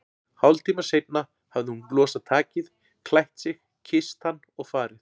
Hálftíma seinna hafði hún losað takið, klætt sig, kysst hann og farið.